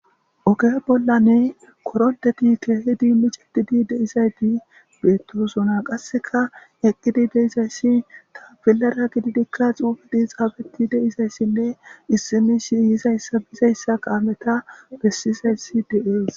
Oge bollanne koronththethi keehidi miceththidi de7izaythi beeththoosona; qasseka eqqidi de7izayssi tafellaara gididikka xuufethi xaafeththi de7izayssinne issi mishshi yizayssa bizayssa kaametha bessizayssi de7ees.